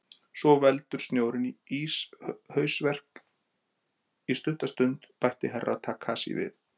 Svo veldur snjórinn íshausverk í stutta stund, bætti Herra Takashi við.